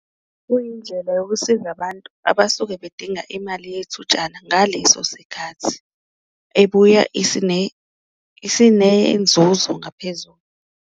Kuyindlela yokusiza abantu abasuke bedinga imali yethutshana ngaleso sikhathi, ebuya isinenzuzo ngaphezulu.